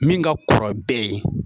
Min ka kɔrɔ bɛɛ ye.